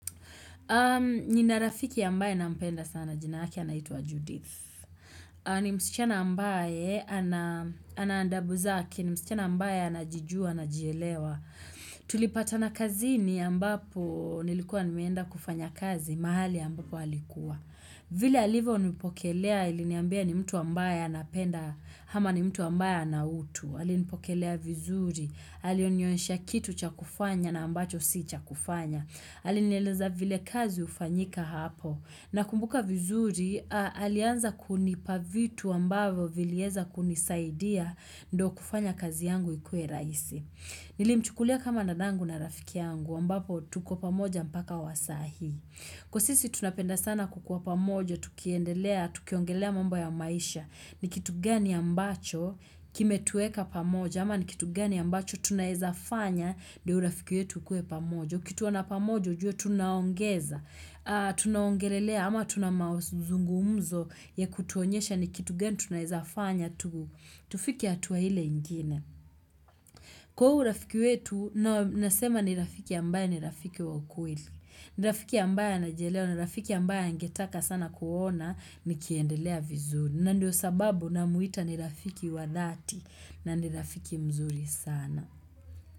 Nina rafiki ambaye nampenda sana jina lake anaitwa Judith. Ni msichana ambaye ana adabu zake, ni msichana ambaye anajijua, anajielewa. Tulipatana kazini ambapo nilikuwa nimeenda kufanya kazi, mahali ambapo alikuwa. Vile alivyonipokelea iliniambia ni mtu wa ambaye anapenda, ama ni mtu wa ambaye ana utu. Anipokelea vizuri, alinionyesha kitu cha kufanya na ambacho si cha kufanya. Alinieleza vile kazi hufanyika hapo. Nakumbuka vizuri, alianza kunipa vitu ambavyo vilieza kunisaidia ndio kufanya kazi yangu ikuwe raisi. Nilimchukulia kama dadangu na rafiki yangu, ambapo tuko pamoja mpaka wa sahi. Kwa sisi tunapenda sana kukuwa pamoja, tukiongelea mambo ya maisha, ni kitu gani ambacho kimetuweka pamoja, ama ni kitu gani ambacho tunaezafanya ndio urafiki wetu ukuwe pamoja. Ukituona pamoja ujue tunaongeza, tunaongelea ama tuna mazungumzo ya kutuonyesha ni kitu gani tunaezafanya tufike hatua ile ingine. Kwa huu urafiki wetu, nasema ni rafiki ambaye ni rafiki wa ukweli. Ni rafiki ambaye anajielewa na rafiki ambaye angetaka sana kuona nikiendelea vizuri. Na ndio sababu namuita ni rafiki wa dhati na ni rafiki mzuri sana.